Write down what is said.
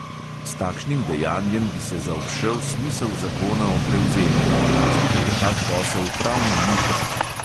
S takšnim dejanjem bi se zaobšel smisel zakona o prevzemih, zato je tak posel pravno ničen.